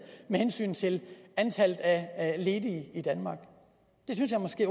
med hensyn til antallet af ledige i danmark det synes jeg måske